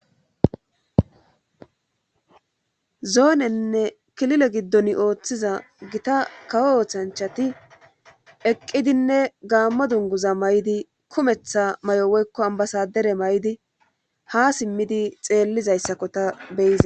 zoonenne kilile giddon ooththiza gita kawo oothanchati eqqidinne gaammo dunguza may7di kumetha may7owoykko ambasadere may7di ha simmidi xeellizayssakko ta beyiza